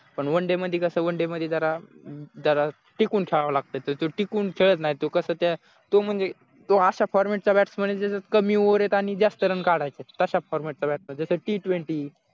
पण one day मधी कसं one day मधी जरा जरा टिकून खेळाव लागतं तर तो टिकून खेळत नाही तो कस त्या तो म्हणजे अशा format चा batsman कमी over त रेत आणि जास्त run काढायचे तसा former त्याला जस t twenty